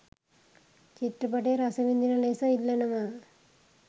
චිත්‍රපටය රසවිඳින ලෙස ඉල්ලනවා.